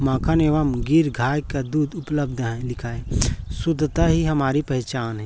मक्खन एवं गीर गाय का दूध उपलब्ध है लिखा है शुद्धता ही हमारी पहचान है।